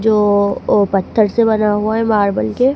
जो वो पत्थर से बना हुआ हैं मार्बल के--